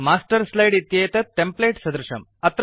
master slide इत्येतत् template सदृशम्